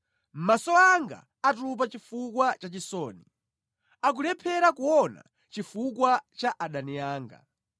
Maso anga atupa chifukwa cha chisoni; akulephera kuona chifukwa cha adani anga.